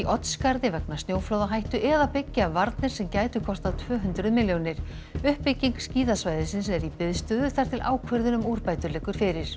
Oddsskarði vegna snjóflóðahættu eða byggja varnir sem gætu kostað tvö hundruð milljónir uppbygging skíðasvæðisins er í biðstöðu þar til ákvörðun um úrbætur liggur fyrir